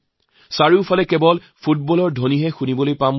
মোৰ বিশ্বাস চাৰিওফালে ফুটবলৰ গুঞ্জন শুণা যাব